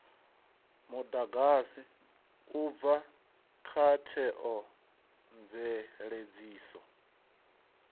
mudagasi u bva kha theomveledziso